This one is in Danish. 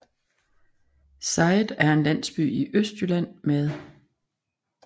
Sejet er en landsby i Østjylland med